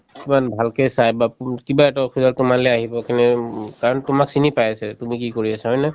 কিমান ভালকে চাই বা কিবা এটা অসুবিধা হল তোমালে আহিব কিয়নো উম কাৰণ তোমাক চিনি পাইছে তুমি কি কৰি আছা হয়নে